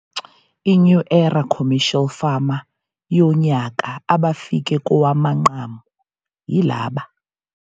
I-New Era Commercial Farmer yoNyaka abafike kowamanqamu yilaba.